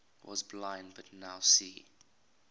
was blind but now see